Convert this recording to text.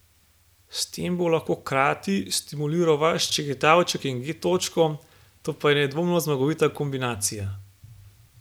S tem bo lahko hkrati stimuliral vaš ščegetavček in G točko, to pa je nedvomno zmagovita kombinacija.